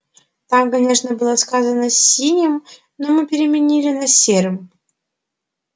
там конечно было сказано синим но мы переменили на серым